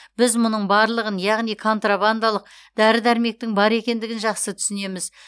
біз мұның барлығын яғни контрабандалық дәрі дәрмектің бар екендігін жақсы түсінеміз